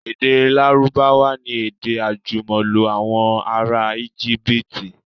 Èdè Lárúbáwá ni èdè àjùmọ̀lò àwọn ará Íjíbítì.